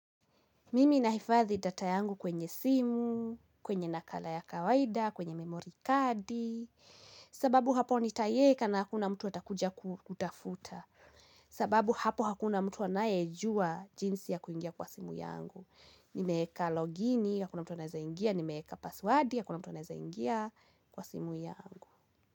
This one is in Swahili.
Mimi nahifadhi data yangu kwenye simu, kwenye nakala ya kawaida, kwenye memory kadi, sababu hapo nitaieka na hakuna mtu atakuja kutafuta, sababu hapo hakuna mtu anayejua jinsi ya kuingia kwa simu yangu. Nimeeka logini, hakuna mtu anaweza ingia, nimeeka paswadi, hakuna mtu anaweza ingia kwa simu yangu.